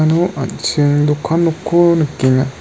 iano an·ching dokan nokko nikenga.